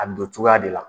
A bi don cogoya de la